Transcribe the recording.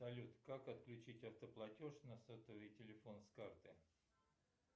салют как отключить автоплатеж на сотовый телефон с карты